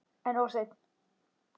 En of seinn.